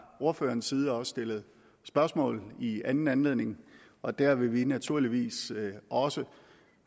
ordførerens side også stillet spørgsmål i anden anledning og der vil vi naturligvis også